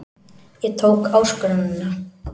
Ég tók áskoruninni.